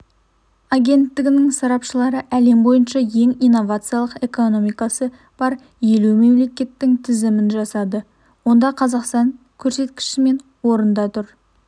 агенттігінің сарапшылары әлем бойынша ең инновациялық экономикасы бар елу мемлекеттің тізімін жасады ондақазақстан көрсеткішімен орында тұр